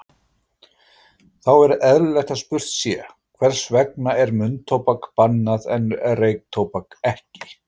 Þá er eðlilegt að spurt sé, hvers vegna er munntóbak bannað en reyktóbak ekki?